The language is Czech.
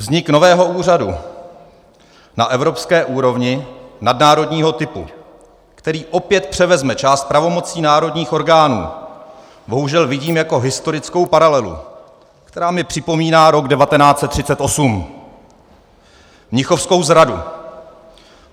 Vznik nového úřadu na evropské úrovni nadnárodního typu, který opět převezme část pravomocí národních orgánů, bohužel vidím jako historickou paralelu, která mi připomíná rok 1938 - mnichovskou zradu.